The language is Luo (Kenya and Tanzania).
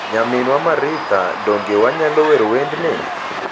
Nyaminwa Maritha, donge wanyalo wer wendni?